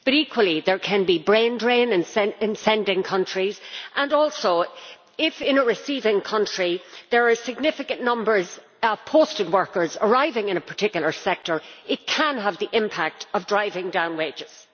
But equally there can be a brain drain from sending countries and also, if in a receiving country there are significant numbers of posted workers arriving in a particular sector, it can have the impact of driving down wages.